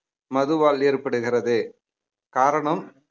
மதுவால் ஏற்படுகிறது காரணம்